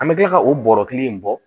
An bɛ kila ka o bɔrɔ kelen in bɔ